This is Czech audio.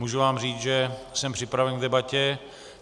Můžu vám říct, že jsem připraven k debatě.